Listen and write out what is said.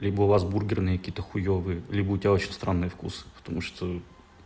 либо у вас бургерные какие-то хуевые либо у тебя очень странный вкусы потому что